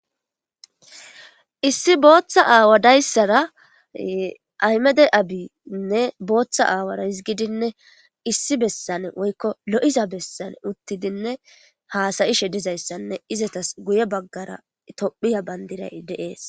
issi booththa aawa dayssara aymede abiinne booththa aawara hisgidinne issi bessane woykko lo7iza bessane uttidinne haasayishe dizayssanne izatas guye baggara tophiya bandiray deees